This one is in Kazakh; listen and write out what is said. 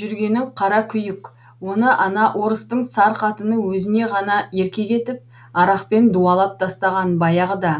жүргенің қара күйік оны ана орыстың сар қатыны өзіне ғана еркек етіп арақпен дуалап тастаған баяғыда